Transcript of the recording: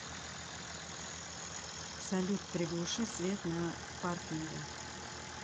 салют приглуши свет на паркинге